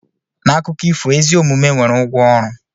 N'akụkọ ifo, ezi omume nwere ụgwọ ọrụ.